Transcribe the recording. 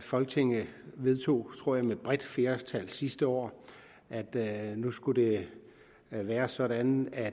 folketinget vedtog jeg tror med et bredt flertal sidste år at nu skulle det være sådan at